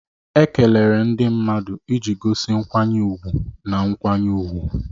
Ekelere ndị mmadụ iji gosi nkwanye ùgwù na nkwanye ùgwù